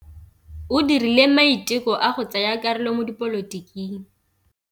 O dirile maitekô a go tsaya karolo mo dipolotiking.